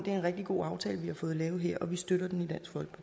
er en rigtig god aftale vi har fået lavet her og vi støtter den